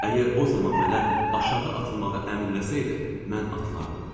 Əgər o zaman mənə aşağı atılmağı əmr eləsəydi, mən atılardım.